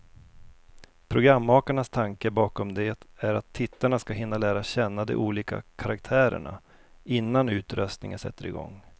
Programmakarnas tanke bakom det är att tittarna ska hinna lära känna de olika karaktärerna, innan utröstningen sätter igång.